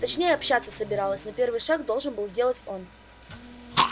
точнее общаться собиралась но первый шаг должен был сделать он